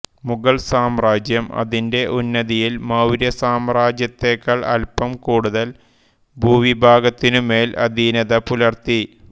മുഗൾ സാമ്രാജ്യം അതിന്റെ ഉന്നതിയിൽ മൌര്യ സാമ്രാജ്യത്തെക്കാൾ അല്പം കൂടുതൽ ഭൂവിഭാഗത്തിനുമേൽ അധീനത പുലർത്തി